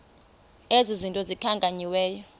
ezi zinto zikhankanyiweyo